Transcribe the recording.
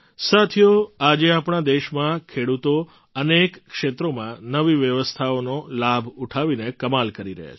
સાથીઓ આજે આપણા દેશમાં ખેડૂતો અનેક ક્ષેત્રોમાં નવી વ્યવસ્થાઓનો લાભ ઉઠાવીને કમાલ કરી રહ્યા છે